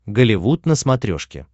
голливуд на смотрешке